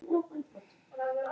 Unir hver með sitt.